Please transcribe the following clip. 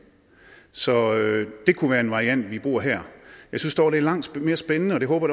så det kunne være en variant vi bruger her jeg synes dog det er langt mere spændende og det håber